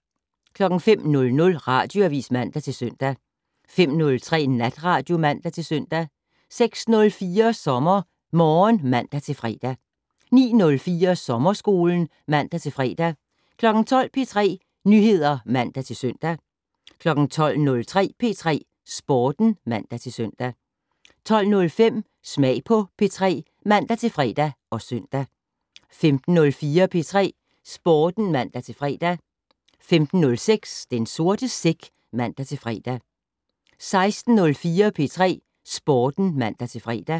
05:00: Radioavis (man-søn) 05:03: Natradio (man-søn) 06:04: SommerMorgen (man-fre) 09:04: Sommerskolen (man-fre) 12:00: P3 Nyheder (man-søn) 12:03: P3 Sporten (man-søn) 12:05: Smag på P3 (man-fre og søn) 15:04: P3 Sporten (man-fre) 15:06: Den sorte sæk (man-fre) 16:04: P3 Sporten (man-fre)